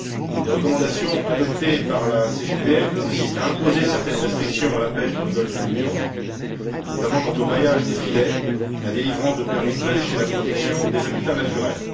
Les recommandations adoptées par la CGPM consistent à imposer certaines restrictions à la pêche dans le golfe du Lion, notamment concernant le maillage des filets, la délivrance de permis de pêche et la protection des habitats naturels.